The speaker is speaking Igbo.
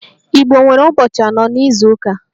Igbo nwere ụbọchị anọ n'izuụka